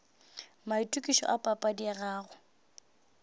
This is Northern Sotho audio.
maitokišo a papadi ya gago